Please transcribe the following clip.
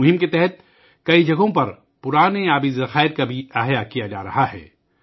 اس مہم کے تحت کئی مقامات پر پرانے آبی ذخائر کو بھی از سر نو بنایا جا رہا ہے